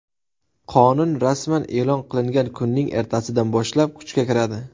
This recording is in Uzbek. Qonun rasman e’lon qilingan kunning ertasidan boshlab kuchga kiradi.